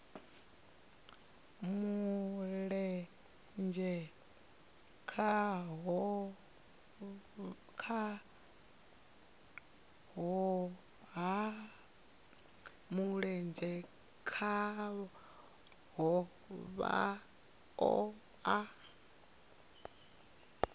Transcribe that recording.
mulenzhe khaho vha o a